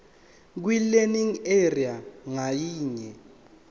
kwilearning area ngayinye